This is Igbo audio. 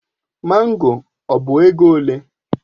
Mango ọ bụ ego ole?